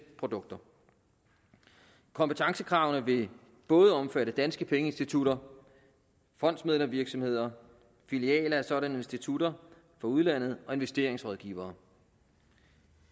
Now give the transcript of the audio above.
produkter kompetencekravene vil både omfatte danske pengeinstitutter fondsmæglervirksomheder filialer af sådanne institutter i udlandet og investeringsrådgivere